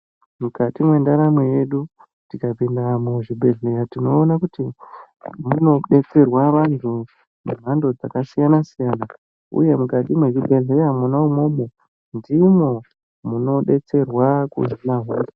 Mukati mwendaramo yedu, tikapinda muzvibhedhleya tinoona kuti ,munobetserwa vantu vemhando dzakasiyana-siyana ,uye mukati mwezvibhedhleya mwona umwomwo, ndimwo munobetserwa kuhina hosha.